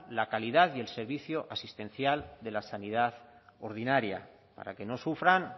la calidad y el servicio asistencial de la sanidad ordinaria para que no sufran